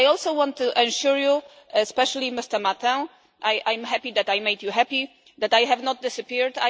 I also want to assure you, and especially Mr Martin I am happy that I made you happy that I have not disappeared.